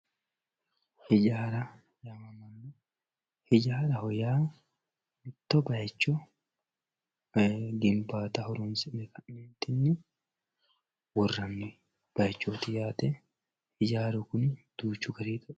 ijaara ijaaraho yaa mitto bayiicho woyeemmi ginbaataho horoonsi'ne ka'neentinni worranni bayiichooti yaate ijaaru kuni duuchu gari